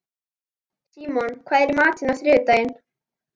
Símon, hvað er í matinn á þriðjudaginn?